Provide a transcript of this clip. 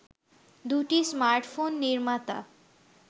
দুটি স্মার্টফোন নির্মাতা